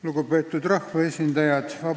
Lugupeetud rahvaesindajad!